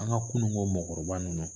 An ka kunun ko mɔgɔkɔrɔba ninnu